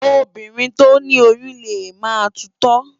Óbírìn tó ni óyùn lé má tútò